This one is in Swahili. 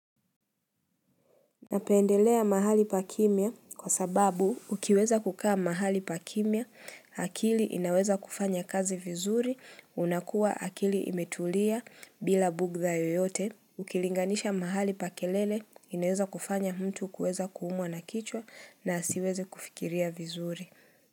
Napendelea mahali pa kimya kwa sababu ukiweza kukaa mahali pa kimya, akili inaweza kufanya kazi vizuri, unakua akili imetulia bila bugdha yoyote. Ukilinganisha mahali pa kelele, inaweza kufanya mtu kueza kuumwa na kichwa na asiweze kufikiria vizuri.